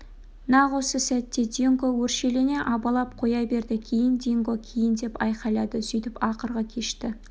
нақ осы сәтте динго өршелене абалап қоя берді кейін динго кейін деп айқайлады сөйтіп ақырғы кешті